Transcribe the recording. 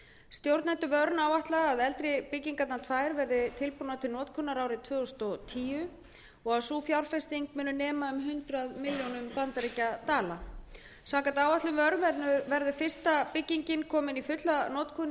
stjórnendur vernes áætla að eldri byggingarnar tvær verði tilbúnar til notkunar árið tvö þúsund og tíu og að sú fjárfesting muni nema um hundrað milljónum bandaríkjadala samkvæmt áætlun vernes verður fyrsta byggingin komin í fulla notkun í